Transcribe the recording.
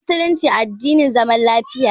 Musulunci addinin zaman lafiya ne.